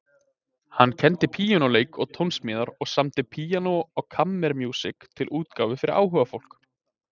Hann kenndi píanóleik og tónsmíðar og samdi píanó- og kammermúsík til útgáfu fyrir áhugafólk.